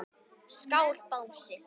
Skál Bangsi.